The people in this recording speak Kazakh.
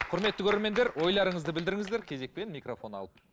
кұрметті көрермендер ойларыңызды білдіріңіздер кезекпен микрофон алып